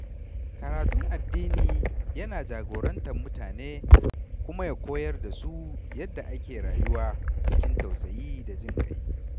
Karatun addini yana jagorantar mutane kuma ya koyar da su yadda ake rayuwa cikin tausayi da jin ƙai.